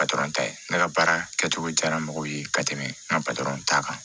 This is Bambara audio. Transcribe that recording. ta ye ne ka baara kɛcogo jara mɔgɔw ye ka tɛmɛ n ka ta kan